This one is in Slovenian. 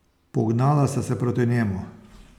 Pognala sta se proti njemu.